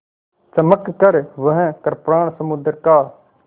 चमककर वह कृपाण समुद्र का